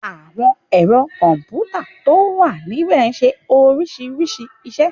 Àwọn ẹ̀rọ kọ̀m̀pútà tó wà níbẹ̀ ṣe oríṣiríṣi iṣẹ́.